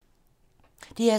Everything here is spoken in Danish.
DR2